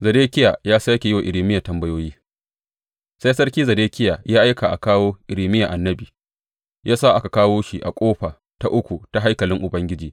Zedekiya ya sāke yi wa Irmiya tambayoyi Sai Sarki Zedekiya ya aika a kawo Irmiya annabi, ya sa aka kawo shi a ƙofa ta uku ta haikalin Ubangiji.